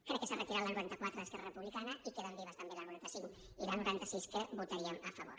crec que s’ha retirat la noranta quatre d’esquerra republicana i queden vives també la noranta cinc i la noranta sis que votaríem a favor